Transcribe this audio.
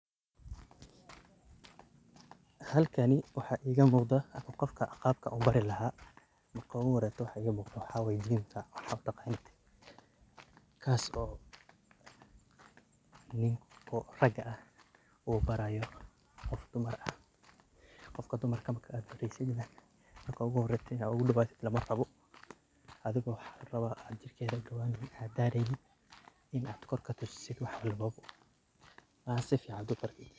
Halkani waxaa iiga muqdaa qofka qaabka aan u bari lahaa, marka ugu horeeso waxa iiga muuqdo waxa waye gym ka waxaa u taqaanid kaas oo ninka rag ah uu baraayo qof dumar ah . Qofka dumarka marka aad bareysid nah marka ugu horeetein aad u dhawaato lama rabo ,adigoo waxaa la rawaa aan jirkeeda u dhawaneynin aan dareynin in aadkor ka tusisid wax walbo ,in aad sifican u bartid.